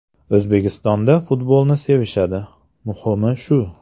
O‘zbekistonda futbolni sevishadi, muhimi shu.